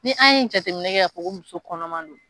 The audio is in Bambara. Ni an ye jateminɛ kɛ k'a fɔ ko muso kɔnɔma don.